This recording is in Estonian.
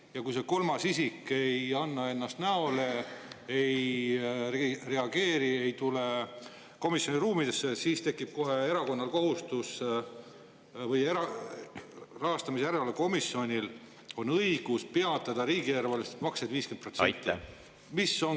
Ja kui see kolmas isik ei anna ennast näole, ei reageeri, ei lähe komisjoni ruumidesse, siis on rahastamise järelevalve komisjonil õigus peatada riigieelarvelised maksed 50%.